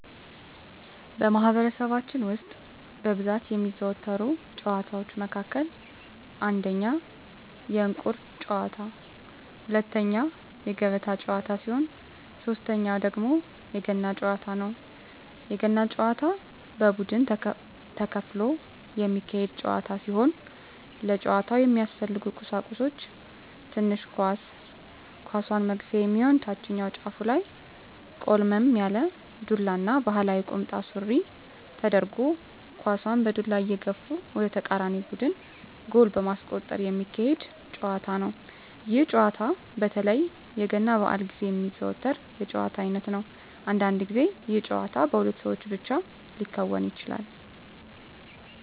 በማህበረሰባችን ውስጥ በብዛት ከሚዘወተሩ ጨዋታወች መካከል አንደኛ የእንቁር ጨዋታ፣ ሁለተኛ የገበጣ ጨዋታ ሲሆን ሶተኛው ደግሞ የገና ጨዋታ ነው። የገና ጨዋታ በቡድን ተከፍሎ የሚካሄድ ጨዋታ ሲሆን ለጨዋታው የሚያስፈልጉ ቀሳቁሶች ትንሽ ኳስ፣ ኳሷን መግፊያ የሚሆን ታችኛው ጫፉ ላይ ቆልመም ያለ ዱላ እና ባህላዊ ቁምጣ ሱሪ ተደርጎ ኳሳን በዱላ እየገፉ ወደ ተቃራኒ ቡድን ጎል በማስቆጠር ሚካሄድ ጨዋታ ነው። ይህ ጨዋታ በተለይ የገና በአል ግዜ የሚዘወተር የጨዋታ አይነት ነው። አንዳንድ ግዜ ይህ ጨዋታ በሁለት ሰው ብቻ ሊከናወን ይችላል።